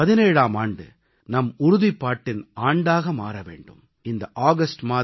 இந்த 2017ஆம் ஆண்டு நம் உறுதிப்பாட்டின் ஆண்டாக மாற வேண்டும்